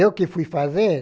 Eu que fui fazer?